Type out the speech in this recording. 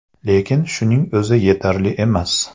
Lekin shuning o‘zi yetarli emas.